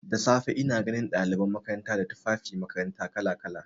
Da safe ina ganin ɗaliban makaranta da tufafin makarantu kala-kala.